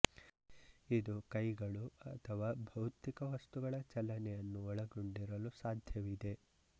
ಇದು ಕೈಗಳು ಅಥವಾ ಭೌತಿಕ ವಸ್ತುಗಳ ಚಲನೆಯನ್ನು ಒಳಗೊಂಡಿರಲು ಸಾಧ್ಯವಿದೆ